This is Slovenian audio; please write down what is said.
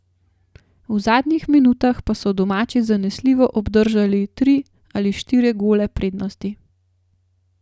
V zadnjih minutah pa so domači zanesljivo obdržali tri ali štiri gole prednosti.